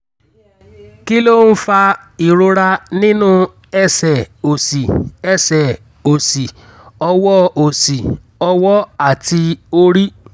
kí ló ń fa ìrora nínú ẹ̀sẹ̀ òsì ẹsẹ̀ òsì ọwọ́ òsì ọwọ́ àti orí?